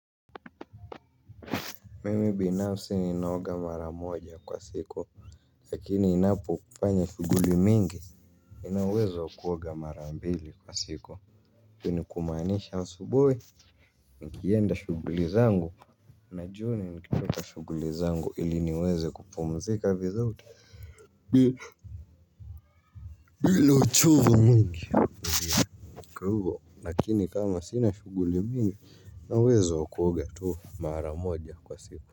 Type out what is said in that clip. Mimi binafsi ninaoga mara moja kwa siku. Lakini ninapofanya shughuli mingi nina uwezo wa kuoga mara mbili kwa siku ni kumaanisha asubuhi nikienda shughuli zangu ili niweze kupumzika vizuri, nina uchovu mwingi, kwa hvo lakini kama sina shughuli mingi nina uwezo kuoga mara moja kwa siku.